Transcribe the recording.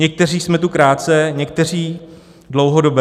Někteří jsme tu krátce, někteří dlouhodobě.